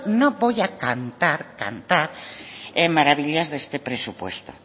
no voy a cantar cantar maravillas de este presupuesto